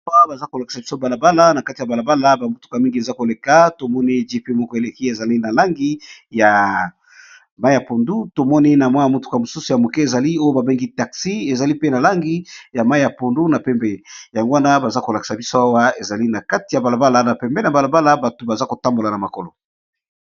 Awa baza kolakisa biso balabala na kati ya balabala bamutuka mingi eza koleka tomoni gp moko eleki ezali na langi ya mai ya pondu tomoni na mwa ya motuka mosusu ya moke ezali oyo babengi taxi ezali pe na langi ya mai ya pondu na pembe yango wana baza kolakisa biso awa ezali na kati ya balabala na pembe na balabala bato baza kotambola na makolo.